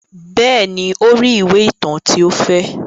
Bẹ́ẹ̀ ni, ó rí ìwé ìtàn tí ó fẹ́.